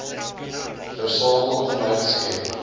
versamel inhoud skep